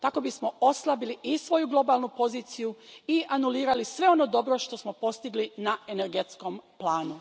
Tako bismo oslabili i svoju globalnu poziciju i anulirali sve ono dobro što smo postigli na energetskom planu.